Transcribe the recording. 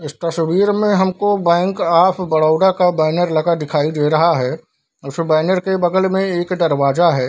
इस तस्वीर में हमको बैंक ऑफ़ बड़ौदा का बैनर लगा दिखाई दे रहा है उस बैनर के बगल में एक दरवाजा है।